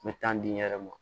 N bɛ taa di n yɛrɛ ma